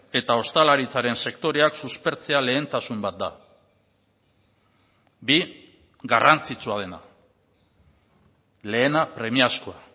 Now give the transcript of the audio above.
eta ostalaritzaren sektoreak suspertzea lehentasun bat da bi garrantzitsua dena lehena premiazkoa